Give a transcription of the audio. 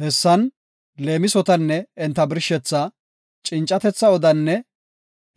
Hessan leemisotanne enta birshethaa, cincatetha odaanne